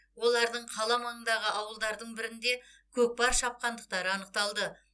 олардың қала маңындағы ауылдардың бірінде көкпар шапқандықтары анықталды